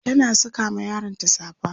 tana Saka ma yaronta safa